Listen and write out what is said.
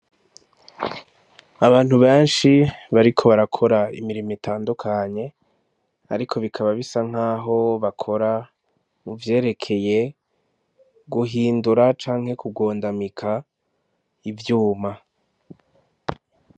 Abantu benshi, bariko barakora imirimo itandukanye, ariko bikaba basa nk'aho bakora muvyerekeye guhindura canke kugondamika ivyuma.